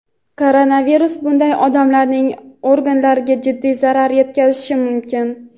koronavirus bunday odamlarning organlariga jiddiy zarar yetkazishi mumkin.